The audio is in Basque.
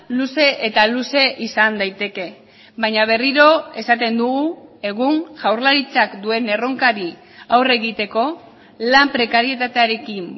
luze eta luze izan daiteke baina berriro esaten dugu egun jaurlaritzak duen erronkari aurre egiteko lan prekarietatearekin